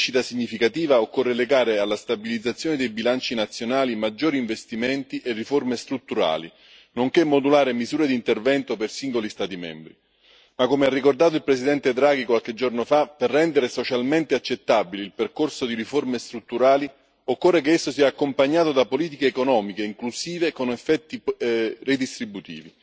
Per raggiungere livelli di crescita significativa occorre legare alla stabilizzazione dei bilanci nazionali maggiori investimenti e riforme strutturali, nonché modulare misure di intervento per singoli Stati membri. Ma, come ha ricordato il presidente Draghi qualche giorno fa, per rendere socialmente accettabile il percorso di riforme strutturali occorre che esso sia accompagnato da politiche economiche inclusive e con effetti